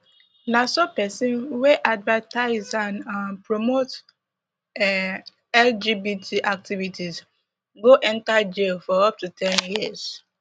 na so pesin wey advertise and um promote um lgbt activities go enta jail for up to ten years